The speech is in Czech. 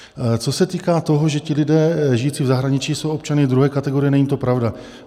Co se týká toho, že ti lidé žijící v zahraničí jsou občany druhé kategorie, není to pravda.